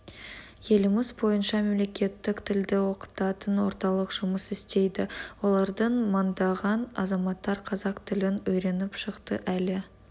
еліміз бойынша мемлекеттік тілді оқытатын орталық жұмыс істейді олардан мыңдаған азаматтар қазақ тілін үйреніп шықты әлі